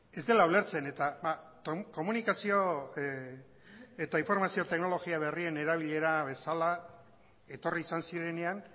ez dela ulertzen eta komunikazio eta informazio teknologia berrien erabilera bezala etorri izan zirenean